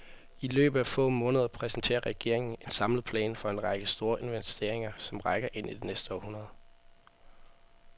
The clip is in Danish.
I løbet af få måneder præsenterer regeringen en samlet plan for en række store investeringer, som rækker ind i det næste århundrede.